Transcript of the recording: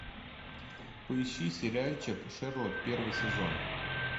поищи сериальчик шерлок первый сезон